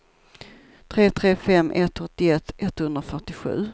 tre tre fem ett åttioett etthundrafyrtiosju